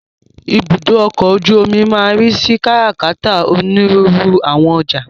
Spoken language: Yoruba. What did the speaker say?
Ibùdó ọkọ̀ ojú omi máa ń ríi sí kárà-kàtà onírúurú àwọn ọjà.